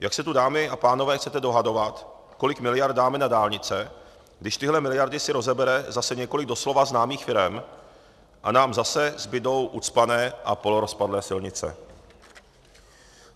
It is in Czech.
Jak se tu, dámy a pánové, chcete dohadovat, kolik miliard dáme na dálnice, když tyhle miliardy si rozebere zase několik doslova známých firem a nám zase zbudou ucpané a polorozpadlé silnice?